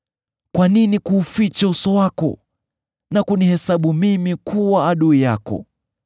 Kwa nini kuuficha uso wako na kunihesabu mimi kuwa adui yako?